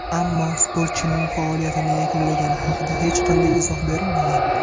Ammo sportchining faoliyatini yakunlagani haqida hech qanday izoh berilmagan.